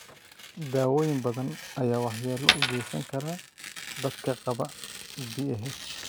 Daawooyin badan ayaa waxyeelo u geysan kara dadka qaba PAH.